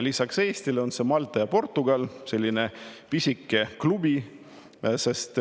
Lisaks Eestile on need Malta ja Portugal – selline pisike klubi.